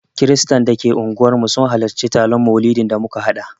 Kiristan da ke unguwarmu sun halarci taron maulidin da muka haɗa